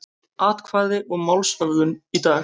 Atkvæði um málshöfðun í dag